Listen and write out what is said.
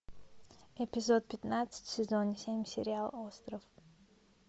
эпизод пятнадцать сезон семь сериал остров